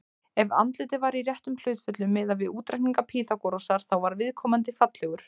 Ef andlitið var í réttum hlutföllum, miðað við útreikninga Pýþagórasar, þá var viðkomandi fallegur.